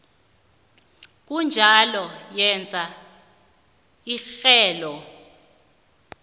kunjalo yenza irhelo